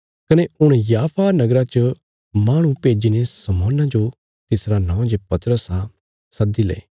कने हुण याफा नगरा च माहणु भेज्जीने शमौना जो तिसरा नौं जे पतरस आ सद्दी ले